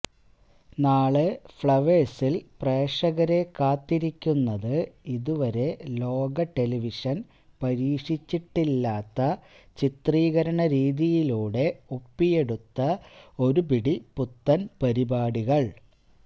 നാളെ ഫ്ളവേഴ്സിൽ പ്രേക്ഷകരെ കാത്തിരിക്കുന്നത് ഇതുവരെ ലോക ടെലിവിഷൻ പരീക്ഷിച്ചിട്ടില്ലാത്ത ചിത്രീകരണ രീതിയിലൂടെ ഒപ്പിയെടുത്ത ഒരുപിടി പുത്തൻ പരിപാടികൾ